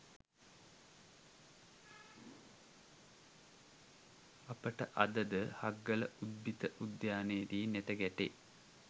අපට අදද හග්ගල උද්භිද උද්‍යානයේදී නෙත ගැටේ